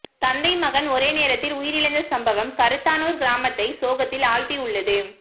தந்தை மகன் ஒரே நேரத்தில் உயிரிழந்த சம்பவம் கருத்தானூர் கிராமத்தை சோகத்தில் ஆழ்த்தியுள்ளது